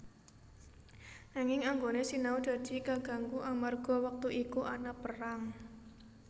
Nanging anggone sinau dadi kaganggu amarga wektu iku ana perang